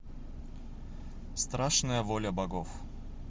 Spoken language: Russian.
страшная воля богов